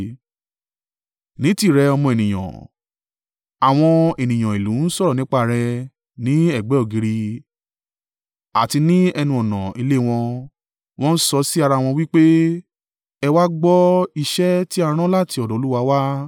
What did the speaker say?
“Ní tìrẹ, ọmọ ènìyàn, àwọn ènìyàn ìlú n sọ̀rọ̀ nípa rẹ ní ẹ̀gbẹ́ ògiri àti ní ẹnu-ọ̀nà ilé wọn, wọ́n ń sọ sí ara wọn wí pé, ‘Ẹ wá gbọ́ iṣẹ́ ti a ran láti ọ̀dọ̀ Olúwa wá.’